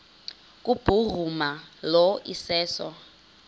kubhuruma lo iseso